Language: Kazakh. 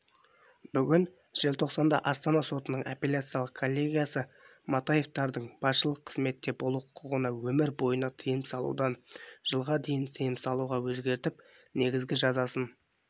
бүгін желтоқсанда астана сотының апелляциялық коллегиясы матаевтардың басшылық қызметте болу құқығына өмір бойына тыйым салудан жылға тыйым салуға өзгертіп негізгі жазасын